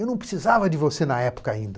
Eu não precisava de você na época ainda.